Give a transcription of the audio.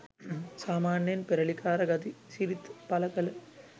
සාමාන්‍යයෙන් පෙරළිකාර ගති සිරිත් පළකළ